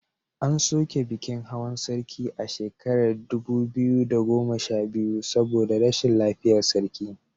An soke bikin hawan sarki a shekarar dubu biyu da goma sha biyu saboda rashin lafiyar sarki.